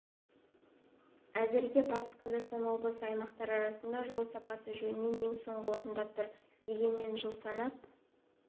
әзірге батыс қазақстан облысы аймақтар арасында жол сапасы жөнінен ең соңғы орында тұр дегенмен жыл санап